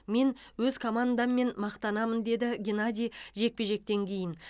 мен өз командаммен мақтанамын деді геннадий жекпе жектен кейін